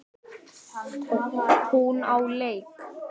Hún á leik.